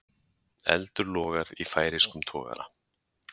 Eldur logar í færeyskum togara